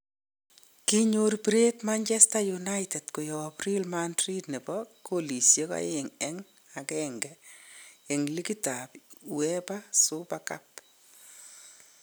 konyor biret manchester united koyab real madrid nebo kolishek oenk en akenge en likit ab Uefa super cup